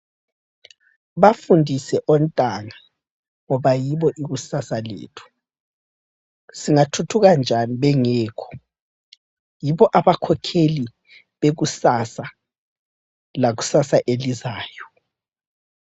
Bafundise ontanga ngoba yibo ikusasa lethu. Singathuthuka njani bengekho? Yibo abakhokheli bekusasa lakusasa elizayo.